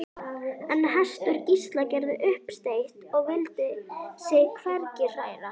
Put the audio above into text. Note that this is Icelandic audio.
En hestur Gísla gerði uppsteyt og vildi sig hvergi hræra.